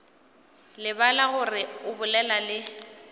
lebala gore o bolela le